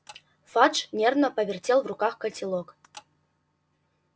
фадж нервно повертел в руках котелок